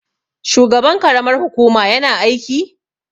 shugaban karamar hukuma yana aiki?